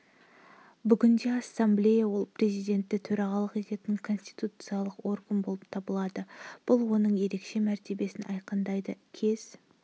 бүгінде ассамблея ел президенті төрағалық ететін конституциялық орган болып табылады бұл оның ерекше мәртебесін айқындайды кез